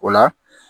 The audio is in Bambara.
O la